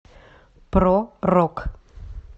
про рок